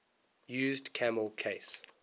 used camel case